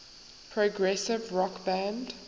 progressive rock band